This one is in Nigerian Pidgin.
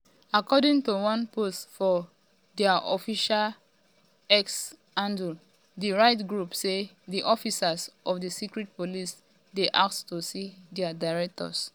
according to one post for diaofficial um x handle di rights group say di officers of di secret police dey ask to see dia directors.